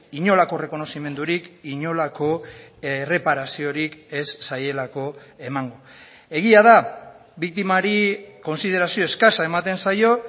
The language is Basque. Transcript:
inolako errekonozimendurik inolako erreparaziorik ez zaielako emango egia da biktimari kontsiderazio eskasa ematen zaio